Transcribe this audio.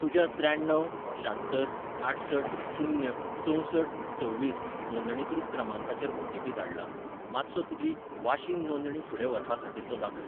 तुज्या त्र्याण्णव शात्तर आठसठ शून्य चंवसठ सव्वीस नोंदणीकृत क्रमांकाचेर ओटीपी धाडला, मातसो तुजी वाशीन नोंदणी फुडें व्हरपा खातीर तो दाखय.